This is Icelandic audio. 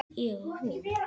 Ég hún.